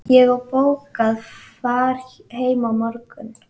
Ég á bókað far heim á morgun.